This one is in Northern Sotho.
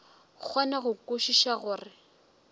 kgone go kwešiša gore o